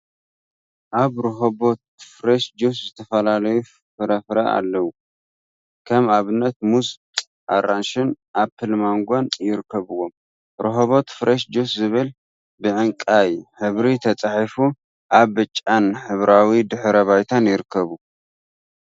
ኣብ ሮሆበት ፍሬሽ ጁስ ዝተፈላለዩ ፋራፍረ ኣለው። ከም ኣብነት ሙዝ፥ ኣራንሺን ኣፕል ማንጎን ይርከቡዎም። ሮሆበት ፍሬሽ ጁስ ዝብል ብዕንቃይ ሕብሪ ተጻሒፉ ኣብ ብጫን ሕብራዊ ድሕረ ባይታ ይርከቡ።